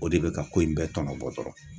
O de be ka ko in bɛɛ tɔnɔbɔ dɔrɔn